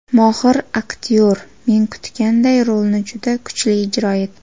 Mohir aktyor, men kutganday, rolini juda kuchli ijro etdi.